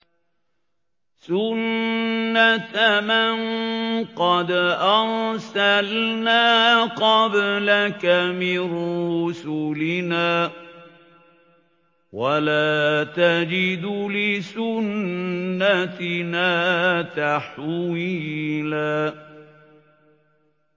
سُنَّةَ مَن قَدْ أَرْسَلْنَا قَبْلَكَ مِن رُّسُلِنَا ۖ وَلَا تَجِدُ لِسُنَّتِنَا تَحْوِيلًا